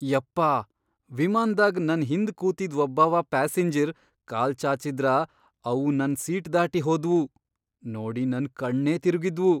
ಯಪ್ಪಾ ವಿಮಾನ್ದಾಗ್ ನನ್ ಹಿಂದ್ ಕೂತಿದ್ ವಬ್ಬವ ಪ್ಯಾಸಿಂಜರ್ ಕಾಲ್ ಚಾಚಿದ್ರ ಅವು ನನ್ ಸೀಟ್ ದಾಟಿ ಹೋದ್ವು, ನೋಡಿ ನನ್ ಕಣ್ಣೇ ತಿರಗಿದ್ವು.